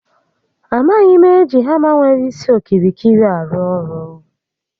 A maghị m eji hama nwere isi okirikiri arụ ọrụ